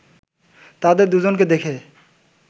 তাদের দুজনকে দেখে